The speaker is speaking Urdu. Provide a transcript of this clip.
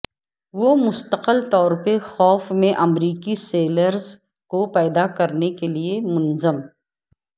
وہ مستقل طور پر خوف میں امریکی سیلرز کو پیدا کرنے کے لئے منظم